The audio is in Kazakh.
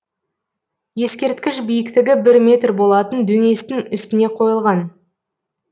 ескерткіш биіктігі бір метр болатын дөңестің үстіне қойылған